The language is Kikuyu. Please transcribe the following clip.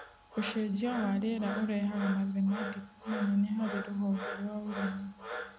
ũcenjia wa rĩera ũrehaga mathematics manene harĩ rũhonge rwa ũrĩmi